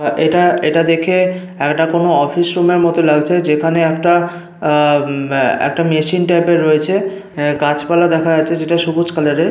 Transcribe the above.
এটা এটা দেখে এটা কোনো অফিস রুমের মতো লাগছে যেখানে একটা আহ উম একটা মেশিন টাইপ এর রয়েছে। গাছপালা দেখা যাচ্ছে যেটা সবুজ কালার এর।